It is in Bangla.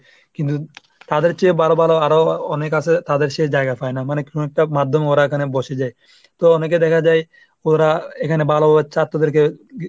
কিন্তু তাদের চেয়ে বড়ো বড়ো আরও অনেক আসে, তাদের সে জায়গা পায় না। মানে কোন একটা মাধ্যমে এখানে বসে যায়। তো অনেকে দেখা যায় ওরা এখানে ভালো ছাত্রদেরকে ,